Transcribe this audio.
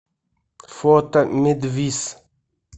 фото медвис